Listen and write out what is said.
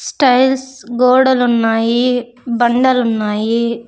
Styles గోడలు ఉన్నాయి బండలు ఉన్నాయి.